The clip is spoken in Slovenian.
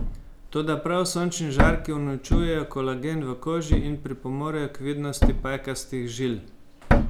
Toda prav sončni žarki uničujejo kolagen v koži in pripomorejo k vidnosti pajkastih žil.